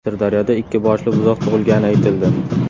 Sirdaryoda ikki boshli buzoq tug‘ilgani aytildi.